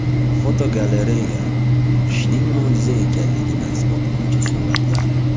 Fotogalereya: Qishning mo‘jiza ekanligini isbotlovchi suratlar.